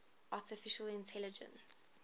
artificial intelligence